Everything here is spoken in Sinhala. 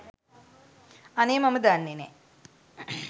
අනේ මම දන්නේ නෑ